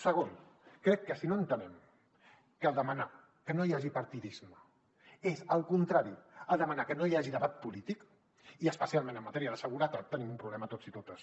segon crec que si no entenem que demanar que no hi hagi partidisme és el contrari de demanar que no hi hagi debat polític i especialment en matèria de seguretat tenim un problema tots i a totes